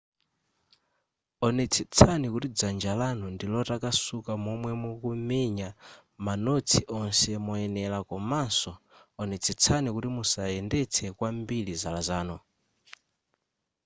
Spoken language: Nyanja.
onetsetsani kuti dzanja lanu ndi lotakasuka momwe mukamenya manotsi onse moyenera komanso onetsetsani kuti musayendetse kwambiri zala zanu